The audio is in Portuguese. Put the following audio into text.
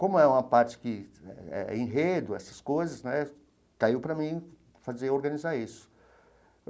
Como é uma parte que eh é enredo, essas coisas né, caiu para mim fazer organizar isso.